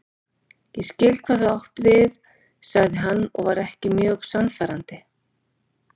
Ég skil hvað þú átt við sagði hann og var ekki mjög sannfærandi.